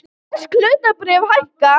Bresk hlutabréf hækka